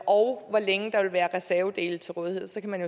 og hvor længe der vil være reservedele til rådighed og så kan